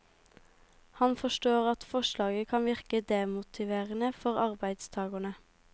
Han forstår at forslaget kan virke demotiverende for arbeidstagerne.